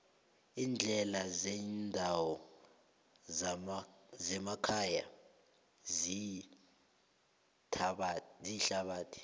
iindlela zendawo zemakhaya ziyithabathi